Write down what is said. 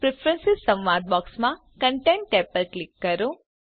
preference સંવાદ બોક્સમાં content tab પસંદ કરો